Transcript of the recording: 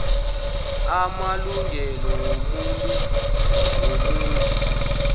amalungelo wobuntu womuntu